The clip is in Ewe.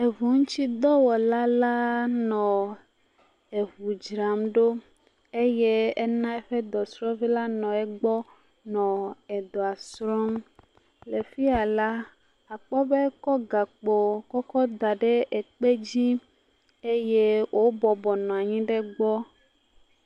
Eŋuŋutsudɔwɔla la nɔ eŋu dzram ɖo eye ena eƒe dɔsrɔ̃vi la nɔ egbɔ nɔ edɔa srɔ̃m. Le fi ya la akpɔ be ekɔ gakpo kɔkɔ da ɖe ekpe dzi eye wobɔbɔnɔ anyi ɖe egbɔ.